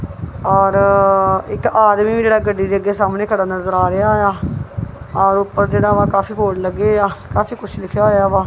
ਔਰ ਇੱਕ ਆਦਮੀ ਵੀ ਜਿਹੜਾ ਗੱਡੀ ਦੇ ਅੱਗੇ ਸਾਹਮਣੇ ਖੜਾ ਨਜ਼ਰ ਆ ਰਿਹਾ ਆ ਔਰ ਉੱਪਰ ਜਿਹੜਾ ਵਾ ਕਾਫੀ ਬੋਰਡ ਲੱਗੇ ਆ ਕਾਫੀ ਕੁਝ ਲਿਖਿਆ ਹੋਇਆ ਵਾ।